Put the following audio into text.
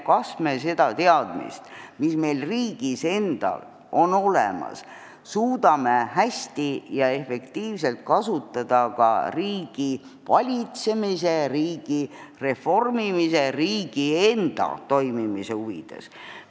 Kas me suudame seda teadmist, mis meil riigis endal on, hästi ja efektiivselt kasutada ka riigivalitsemise, riigireformimise ja riigi enda toimimise huvides?